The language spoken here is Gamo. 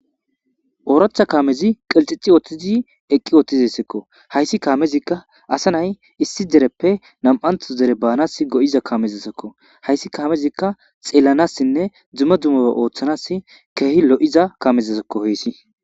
ooracha kaamezi qelxixi oothtizi eqqi ooththizisekko hayssi kaamezikka asa nay issi dereppe nam7antos dere baanas go7iza kamezasekko hayssi kaamezikka xeelanassinne dzuma dumoa ooththanas keehi lo7iza kamezesokko hoyssi